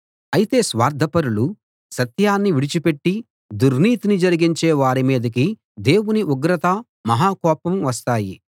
అయితే స్వార్ధపరులు సత్యాన్ని విడిచిపెట్టి దుర్నీతిని జరిగించే వారి మీదికి దేవుని ఉగ్రత మహా కోపం వస్తాయి